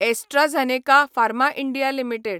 AstraZeneca pharma India limited